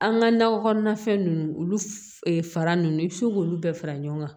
An ka nakɔ kɔnɔna fɛn ninnu olu fara ninnu i bɛ se k'olu bɛɛ fara ɲɔgɔn kan